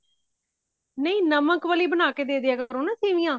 ਨਹੀਂ ਨਮਕ ਵਾਲੀ ਬਣਾ ਕੇ ਦੇ ਦੀਆ ਕਰੋ ਨਾ ਸੇਵਿਆ